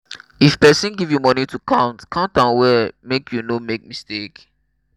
if person give you money to count count am well make you no make mistake.